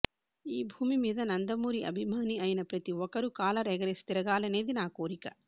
ఈ భూమి మీద నందమూరి అభిమాని అయిన ప్రతి ఒక్కరు కాలర్ ఎగరేసి తిరగాలనేది నా కోరిక